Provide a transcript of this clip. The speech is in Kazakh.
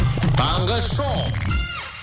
таңғы шоу